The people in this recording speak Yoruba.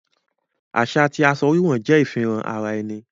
Aṣa ti aṣọ wíwọ̀ jẹ ifihàn ara ènì